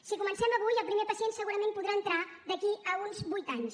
si comencem avui el primer pacient segurament podrà entrar d’aquí uns vuit anys